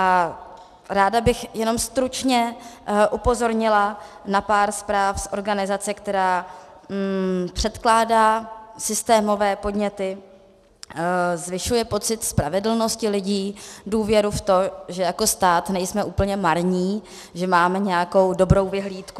A ráda bych jenom stručně upozornila na pár zpráv z organizace, která předkládá systémové podněty, zvyšuje pocit spravedlnosti lidí, důvěru v to, že jako stát nejsme úplně marní, že máme nějakou dobrou vyhlídku.